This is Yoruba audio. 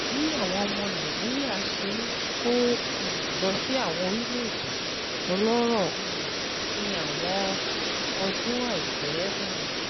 Bí àwọn ọmọ Nàìjíríà ṣe ń kó um lọ sí àwọn orílẹ̀-èdè ọlọ́rọ̀ um ní àwọn ọdún àìpẹ́ um